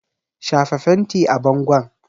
Shafa fenti a bangon!